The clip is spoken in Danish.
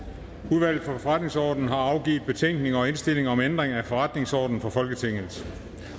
udvalget for forretningsordenen har afgivet betænkning og indstilling om ændring af forretningsorden for folketinget